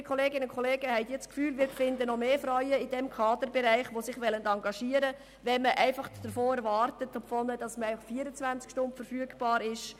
Liebe Kolleginnen und Kollegen, glauben Sie, dass wir noch mehr Frauen im Kaderbereich finden werden, die sich engagieren wollen, wenn man von ihnen erwartet, 24 Stunden verfügbar zu sein?